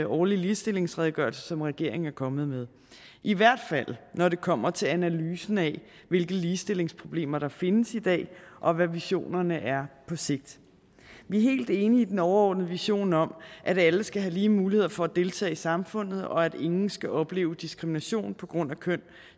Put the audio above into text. årlige ligestillingsredegørelse som regeringen er kommet med i hvert fald når det kommer til analysen af hvilke ligestillingsproblemer der findes i dag og hvad visionerne er på sigt vi er helt enige i den overordnede vision om at alle skal have lige muligheder for at deltage i samfundet og at ingen skal opleve diskrimination på grund af køn